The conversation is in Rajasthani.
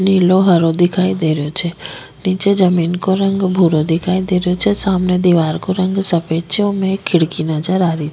नीलो हरो दिखाई दे रो छे निचे जमीं को रंग भूरो दिखाई दे रो छे सामने दिवार को रंग सफेद छे ओमे एक खिड़की नजर आरी --